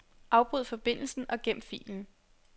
Afbryd forbindelsen og gem filen.